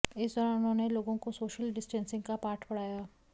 इस दौरान उन्होंने लोगों को सोशल डिस्टेंसिंग का पाठ पढ़ाया